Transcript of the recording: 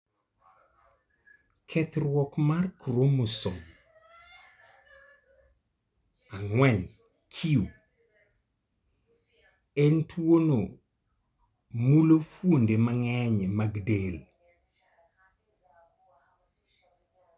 Kethruok mar chromosome 4q en tuwono mulo fuonde mang'eny mag del.